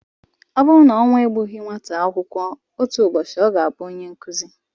Ọ buru na ọnwụ egbughị nwata akwụkwọ, otu ụbọchị ọ ga-abụ onye nkụzi.